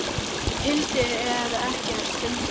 hildi en ekkert fundið.